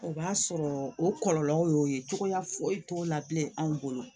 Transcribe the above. O b'a sɔrɔ o kɔlɔlɔw y'o ye cogoya foyi t'o la bilen anw bolo